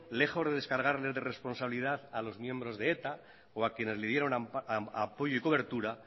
lejos de descargarles de responsabilidad a los miembros de eta o a quienes le dieron apoyo y cobertura